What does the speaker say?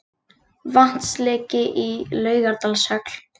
Vatnsleki í Laugardalshöll